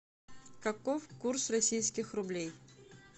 каков курс российских рублей